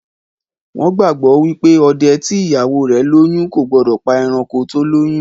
Wón gbagbọ wipe òde tí ìyàwó rẹ lóyún o gbódò pá eranko tó lóyún